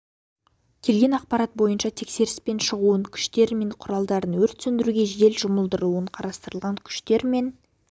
келген ақпарат бойынша тексеріспен шығуын күштері мен құралдарын өрт сөндіруге жедел жұмылдырылуын қатыстырған күштер мен